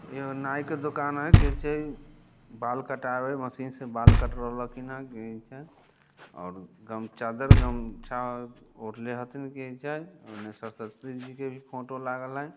यहाँ नाइ का दुकान है एजे बाल कटावे वाले मशीन से बाल कट रहल की ना और गम- चादर गमछा और लेहती फोटो लगल हाई।